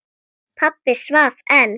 Pabbi svaf enn.